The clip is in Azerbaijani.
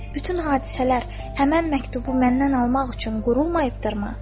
Bütün hadisələr həmin məktubu məndən almaq üçün qurulmayıbdırmı?